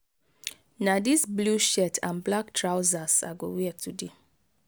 na this blue shirt and black trousers i go wear today.